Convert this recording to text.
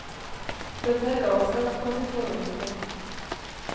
Dette er galskap på sitt fornemste.